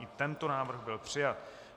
I tento návrh byl přijat.